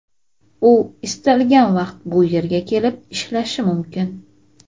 u istalgan vaqt bu yerga kelib ishlashi mumkin.